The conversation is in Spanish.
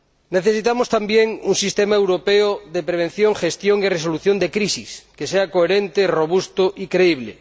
Necesitamos también un sistema europeo de prevención, gestión y resolución de crisis que sea coherente, robusto y creíble.